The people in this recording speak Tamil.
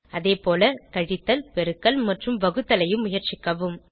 அதே போல கழித்தல் பெருக்கல் மற்றும் வகுத்தலையும் முயற்சிக்கவும்